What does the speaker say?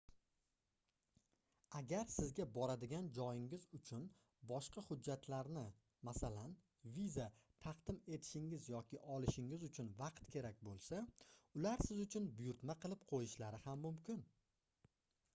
agar sizga boradigan joyingiz uchun boshqa hujjatlarni masalan viza taqdim etishingiz yoki olishingiz uchun vaqt kerak bo'lsa ular siz uchun buyurtma qilib qo'yishlari ham mumkin